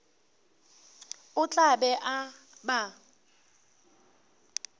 o tla be a ba